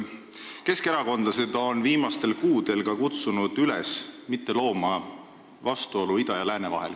Keskerakondlased on viimastel kuudel kutsunud üles mitte looma vastuolu ida ja lääne vahel.